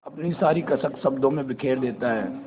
अपनी सारी कसक शब्दों में बिखेर देता है